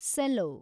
cello